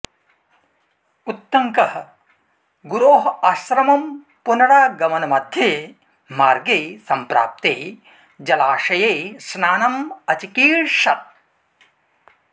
उत्तङ्कः गुरोः आश्रमं पुनरागमनमध्ये मार्गे संप्राप्ते जलाशये स्नानं अचिकीर्षत्